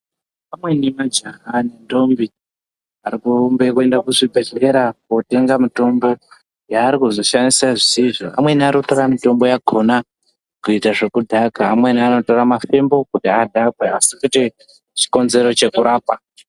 Amweni majaha nendombi ari kurumbe kuzvibhedhlera kotenga mitombo yaari kuzoshaise zvisizvo amweni ari kutora mitombo yakhona kuite zvekudhaka amweni anotora mafembo kuti adhakwe asi kuti chikonzero chekurapa.